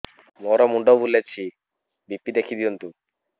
ମୋର ମୁଣ୍ଡ ବୁଲେଛି ବି.ପି ଦେଖି ଦିଅନ୍ତୁ